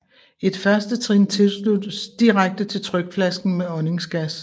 Et førstetrin tilsluttes direkte til trykflasken med åndingsgas